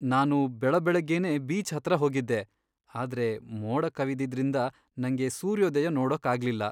ನಾನು ಬೆಳಬೆಳಗ್ಗೆನೇ ಬೀಚ್ ಹತ್ರ ಹೋಗಿದ್ದೆ, ಆದ್ರೆ ಮೋಡ ಕವಿದಿದ್ರಿಂದ ನಂಗೆ ಸೂರ್ಯೋದಯ ನೋಡೋಕಾಗ್ಲಿಲ್ಲ.